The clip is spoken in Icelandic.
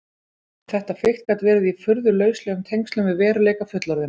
Þetta fikt gat verið í furðu lauslegum tengslum við veruleika fullorðinna.